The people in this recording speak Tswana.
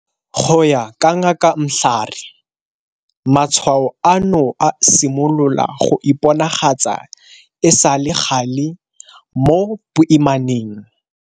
Go ya ka Ngaka Mhlari, matshwao ano a simolola go iponagatsa e sa le gale mo boimaneng.